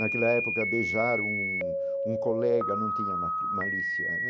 Naquela época beijar um um colega não tinha ma malícia.